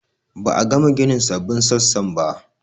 Ba a gama ginin sabbin sassan ba